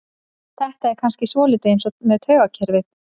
Þetta er kannski svolítið eins með taugakerfið.